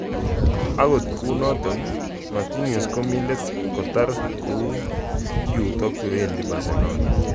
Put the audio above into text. (Sky Sports) Akot kunatok, Martinez komi let kotare koiuto kowendi Barcelona.